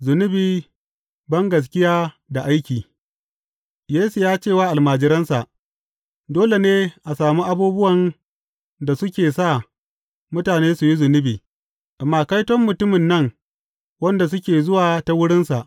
Zunubi, bangaskiya da aiki Yesu ya ce wa almajiransa, Dole ne a sami abubuwan da suke sa mutane su yi zunubi, amma kaiton mutumin nan wanda suke zuwa ta wurinsa.